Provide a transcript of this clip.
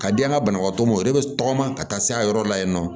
Ka di an ka banabagatɔ ma o de bɛ tɔgɔma ka taa s'a yɔrɔ la yen nɔ